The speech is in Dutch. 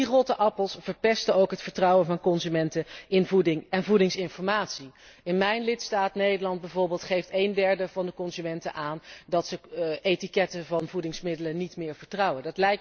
Die rotte appels verpesten ook het vertrouwen van consumenten in voeding en voedingsinformatie. In mijn lidstaat, Nederland, bijvoorbeeld geeft één derde van de consumenten aan dat ze etiketten van voedingsmiddelen niet meer vertrouwen.